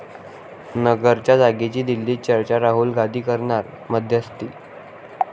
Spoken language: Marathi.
नगरच्या जागेची दिल्लीत चर्चा, राहुल गांधी करणार मध्यस्थी